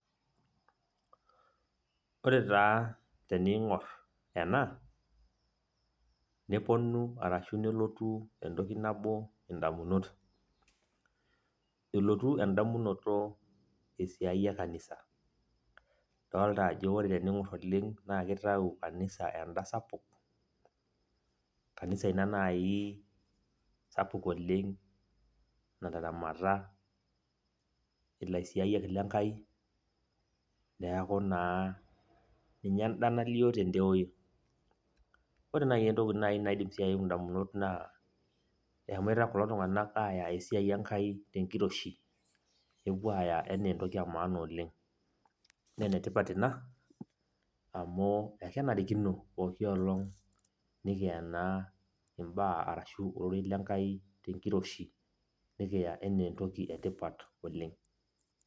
Ore taa teniing'or ena, neponu arashu nelotu entoki nabo indamunot. Elotu endamunoto esiai e kanisa. Dolta ajo ore teniing'or oleng na kitau kanisa enda sapuk, kanisa ina nai sapuk oleng nataramat ilaisiaiyak lenkai, neeku naa ninye enda nalio tedewei. Ore nai entoki naidim si ayeu indamunot naa, eshomoita kulo tung'anak aya esiai Enkai tenkiroshi, nepuo aya enaa entoki emaana oleng. Nenetipat ina, amu ekenarikino pooki olong nikiya naa imbaa arashu ororei lenkai tenkiroshi, nikiya enaa entoki etipat oleng.